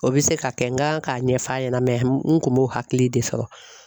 O bɛ se ka kɛ nga k'a ɲɛf'a ɲɛna n kun m'o hakili de sɔrɔ.